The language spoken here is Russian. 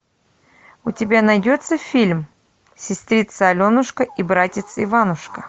у тебя найдется фильм сестрица аленушка и братец иванушка